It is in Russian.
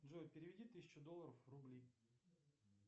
джой переведи тысячу долларов в рубли